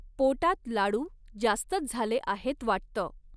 पोटात लाडू जास्तच झाले आहेत वाटतं.